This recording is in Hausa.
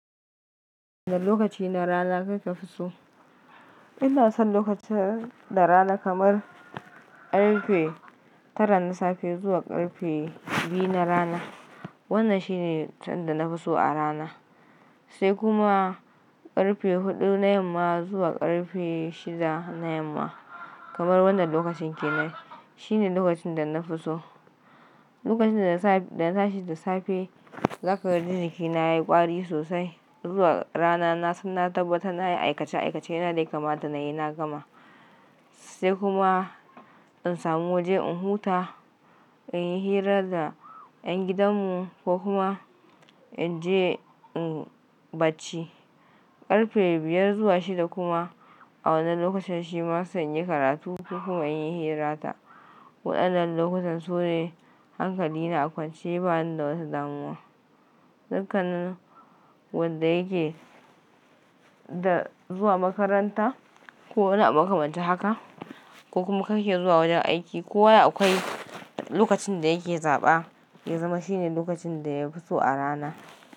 Wane lokaci na rana kika fi so? Ina son lokacin da rana kamar ƙarfe tara na safe zuwa ƙarfe biyu na rana. Wannan shine tun da na fi so a rana. Sai kuma ƙarfe huɗu na yamma zuwa ƙarfe shida na yamma. Kamar wannan lokacin kenan. Shine lokacin da na fi so. Lokacin da na tashi da safe, zaka ji jiki na ya yi ƙwari sosai. Zuwa rana, na san na tabbatar na yi aikace-aikace na da ya kamata na yi na gama. Sai kuma in samu waje in huta, in yi hira da ƴan gidan mu ko kuma in je in bacci. Ƙarfe biyar zuwa shida kuma a wannan lokacin shi ma sai in yi karatu ko kuma in yi hira ta. Waɗannan lokutan su ne hankali na a kwance bani da wata damuwa. Dukkanin wanda yake da zuwa makaranta ko wani abu makamancin haka ko kuma kake zuwa wajen aiki, kowa akwai lokacin da yake zaɓa ya zama shine lokacin da ya fi so a rana.